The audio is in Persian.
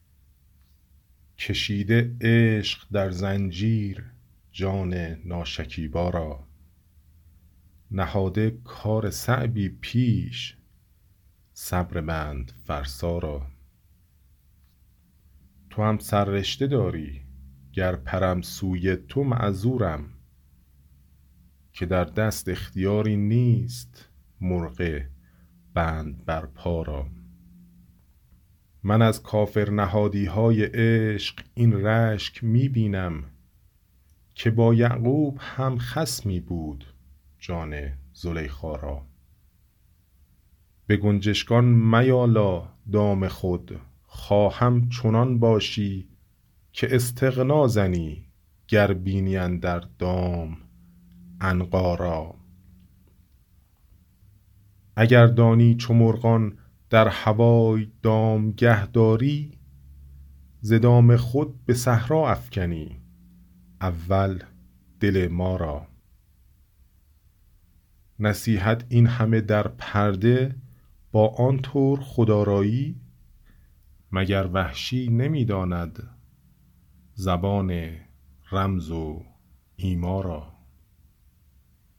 کشیده عشق در زنجیر جان ناشکیبا را نهاده کار صعبی پیش صبر بند فرسا را توام سررشته داری گر پرم سوی تو معذورم که در دست اختیاری نیست مرغ بند بر پا را من از کافرنهادیهای عشق این رشک می بینم که با یعقوب هم خصمی بود جان زلیخا را به گنجشگان میالا دام خود خواهم چنان باشی که استغنا زنی گر بینی اندر دام عنقا را اگر دانی چو مرغان در هوای دامگه داری ز دام خود به صحرا افکنی اول دل ما را نصیحت اینهمه در پرده با آن طور خودرایی مگر وحشی نمی داند زبان رمز و ایما را